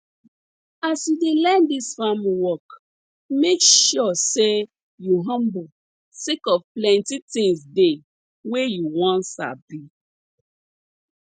as you dey learn dis farm work make sure say you humble sake of plenti tins dey wey you wan sabi